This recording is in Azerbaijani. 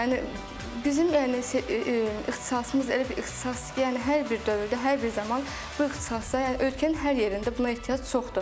Yəni bizim yəni ixtisasımız elə bir ixtisasdır ki, yəni hər bir dövrdə, hər bir zaman bu ixtisasa yəni ölkənin hər yerində buna ehtiyac çoxdur.